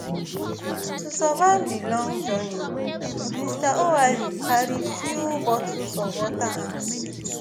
to survive di long journey mr oualy carrie few bottles of water and biscuits